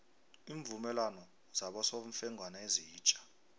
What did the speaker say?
iimvumelwano zabosofengwana ezitja